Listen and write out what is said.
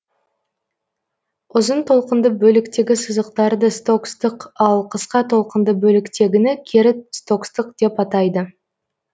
ұзын толқынды бөліктегі сызықтарды стокстық ал кысқа толқынды бөліктегіні кері стокстық деп атайды